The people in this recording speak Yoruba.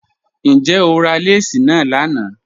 Njẹ́ o rà lẹ́sí na lánà?